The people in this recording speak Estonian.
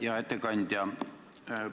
Hea ettekandja!